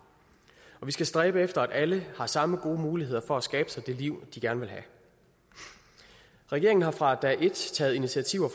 og vi skal stræbe efter at alle har samme gode muligheder for at skabe sig det liv de gerne vil have regeringen har fra dag et taget initiativer